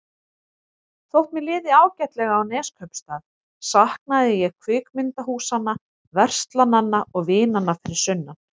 Þótt mér liði ágætlega á Neskaupstað saknaði ég kvikmyndahúsanna, verslananna og vinanna fyrir sunnan.